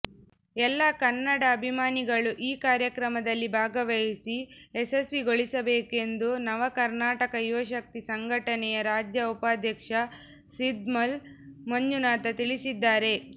ಎಲ್ಲಾ ಕನ್ನಡ ಅಭಿಮಾನಿಗಳು ಈ ಕಾರ್ಯಕ್ರಮದಲ್ಲಿ ಭಾಗವಹಿಸಿ ಯಶಸ್ವಿಗೊಳಿಸಬೇಕೆಂದು ನವಕನರ್ಾಟಕ ಯುವಶಕ್ತಿ ಸಂಘಟನೆಯ ರಾಜ್ಯ ಉಪಾಧ್ಯಕ್ಷ ಸಿದ್ಮಲ್ ಮಂಜುನಾಥ ತಿಳಿಸಿದ್ದಾರೆ